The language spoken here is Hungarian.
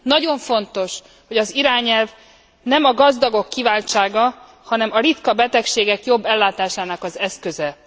Nagyon fontos, hogy az irányelv nem a gazdagok kiváltsága, hanem a ritka betegségek jobb ellátásának az eszköze.